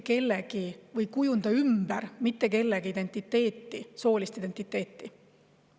Kooliõpik ei kujunda ümber mitte kellegi soolist identiteeti.